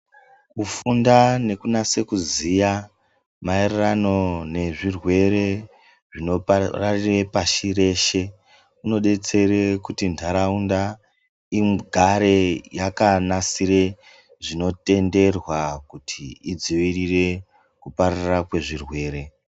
Kufunda nekunyaso kuziya maererano nezvirwere zvinopararira pashi reshe zvinodetsera kuti ndaraunda igare yakanasire zvinotenderwa kuti idzivirire kupararira kwezvirwere.